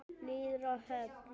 Niður að höfn.